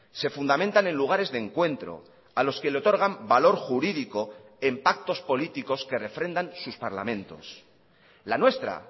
se fundamentan en lugares de encuentro a los que le otorgan valor jurídico en pactos políticos que refrendan sus parlamentos la nuestra